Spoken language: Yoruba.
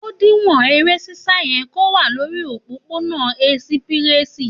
Òdín wọn ẹrẹ sisa yẹ ko wà lòrí òpòpò nà esipirẹsi